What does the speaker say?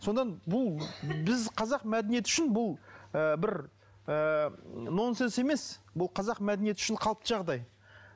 содан бұл біз қазақ мәдениеті үшін бұл ы бір ы нонсенс емес бұл қазақ мәдениеті үшін қалыпты жағдай